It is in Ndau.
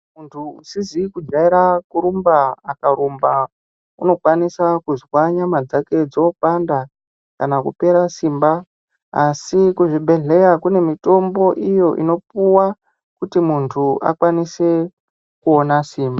Muntu usizi kujaira kurumba akarumba unokwanisa kuzwa nyama dzake dzopanda kana kupera simba asi kuzvibhehleya kune mitombo iyo inopuwa kuti muntu akwanise kuona simba.